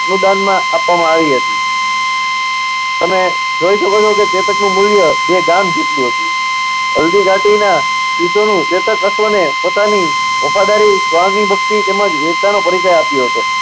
અનુદાનમાં આપવામાં આવી હતી. અને જોઈ શકો છો કે ચેતકનું મૂલ્ય બે ગામ જેટલું હતું. હલ્દી ઘાટીના યુદ્ધનું ચેતક અશ્વને પોતાની વફાદારી સ્વામીભક્તિ તેમજ વીરતાનો પરિચય આપ્યો હતો.